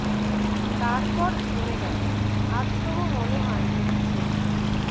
তারপর ঝরে গেছে আজ তবু মনে হয় যদি ঝরিত না